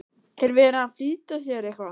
Er verið að flýta sér eitthvað?